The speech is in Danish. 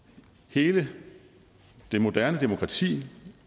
hele det moderne demokrati